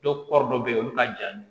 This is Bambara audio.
Dɔw kɔɔri dɔ bɛ yen olu ka ja ninnu